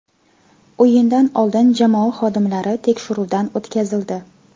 O‘yindan oldin jamoa xodimlari tekshiruvdan o‘tkazildi.